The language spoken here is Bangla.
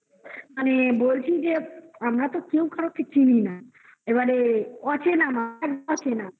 মানে বলছি যে আমরা তো কেউ কারোকে চিনি না এবারে অচেনা আছে